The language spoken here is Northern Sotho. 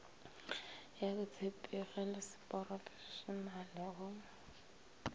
ya botshepegi le seporofešenale go